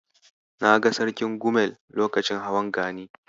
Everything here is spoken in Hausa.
Na ga Sarkin Gumel lokacin hawan Gani.